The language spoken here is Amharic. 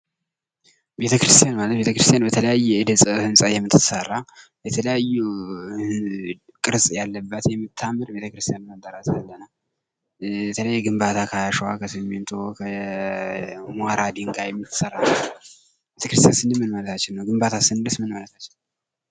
ቤተክርስትያን ማለት በተለያየ የእደ ጥበብ ህንፃ የምትሰራ የተለያዩ ቅርፅ ያለባት የምታምር ቤተክርስቲያን ብለን እንጠራታለን:: ግንባታ ከአሸዋ ከሲሚንቶ ከሞራ ድንግይም ሊሰራ ይችላል:: ቤተክርስቲያን ስንል ምን ማለታችን ነው? ግንባታ ስንልስ ምን ማለታችን ነው?